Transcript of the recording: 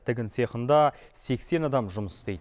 тігін цехында сексен адам жұмыс істейді